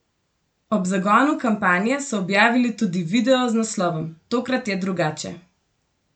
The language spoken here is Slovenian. Ob zagonu kampanje so objavili tudi video z naslovom: "Tokrat je drugače.